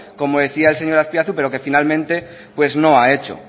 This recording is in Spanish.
como decía el señor azpiazu pero que finalmente pues no ha hecho